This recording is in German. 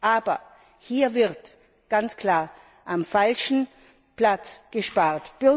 Aber hier wird ganz klar am falschen Platz gespart.